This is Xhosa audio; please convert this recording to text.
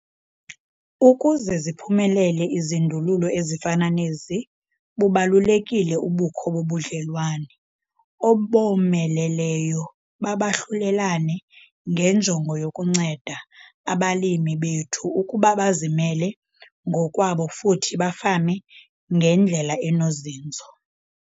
Ukuze ziphumelele izindululo ezifana nezi, bubalulekile ubukho bobudlelwane obomeleleyo babahlulelane ngenjongo yokunceda abalimi bethu ukuba bazimele ngokwabo futhi bafame ngendlela enozinzo.